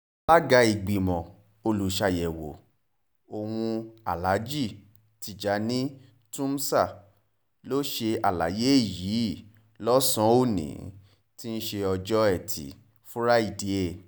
alága ìgbìmọ̀ olùṣàyẹ̀wò ọ̀hún aláàjì tìjàni túmsa ló ṣe àlàyé yìí lọ́sàn-án òní tí í ṣe ọjọ́ etí fúrádìe